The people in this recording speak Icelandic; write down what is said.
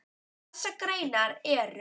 Þessar greinar eru